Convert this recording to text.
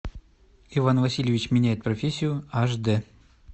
иван васильевич меняет профессию аш дэ